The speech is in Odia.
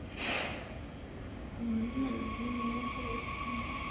ହୁଁ ଏମିତି ଶୋଇପଡିଥିଲି ତ